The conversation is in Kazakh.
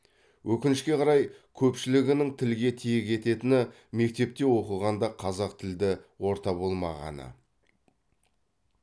өкінішке қарай көпшілігінің тілге тиек ететіні мектепте оқығанда қазақ тілді орта болмағаны